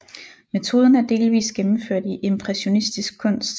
Metoden er delvis gennemført i impressionistisk kunst